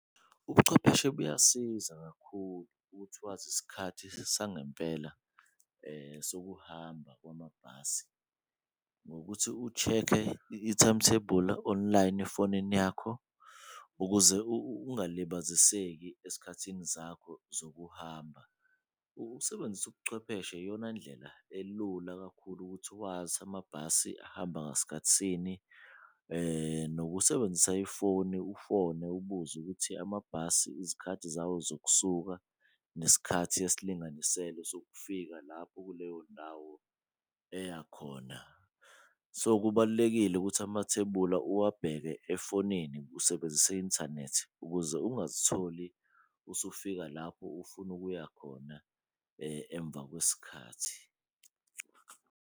Ubuchwepheshe buyasiza kakhulu ukuthi wazi isikhathi sangempela sokuhamba kwamabhasi ngokuthi u-check-e i-timetable online efonini yakho, ukuze ukungilibaziseki esikhathini zakho zokuhamba. Ukusebenzisa ubuchwepheshe iyona ndlela elula kakhulu ukuthi wazi amabhasi ahamba ngasikhathisini nokusebenzisa ifoni, ufone ubuze ukuthi amabhasi izikhathi zawo zokusuka, nesikhathi esilinganiselwe sokufika lapho kuleyo ndawo eyakhona. So, kubalulekile ukuthi amathebula uwabheke efonini usebenzisa i-inthanethi ukuze ungazitholi usufika lapho ufuna ukuya khona emva kwesikhathi.